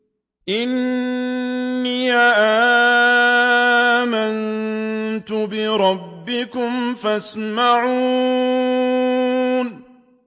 إِنِّي آمَنتُ بِرَبِّكُمْ فَاسْمَعُونِ